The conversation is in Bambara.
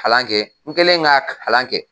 Kalan kɛ n kɛlen ka kalan kɛ.